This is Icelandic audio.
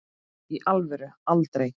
í alvöru aldrei